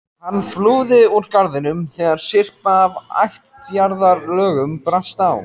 Hann flúði úr garðinum þegar syrpa af ættjarðarlögum brast á.